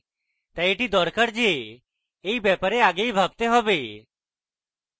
তাই এটি দরকার যে এই ব্যাপারে আগেই ভাবতে হয়